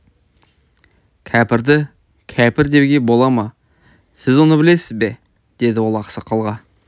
кәпірді кәпір деуге бола ма сіз оны білесіз бе деді ол ақсақалға